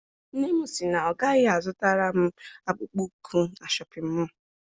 Nne m sị na ọ gaghị a zụtara m akpụkpọ ụkwụ na Shọpịn mọọ.